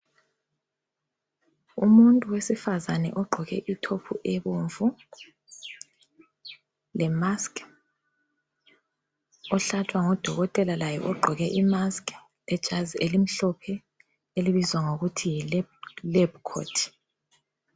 Umuntu wesifazane ogqoke I top ebomvu le mask ,ohlatshwa ngudokotela laye ogqoke imask lejazi elimhlophe elibizwa ngokuthi yi lab coat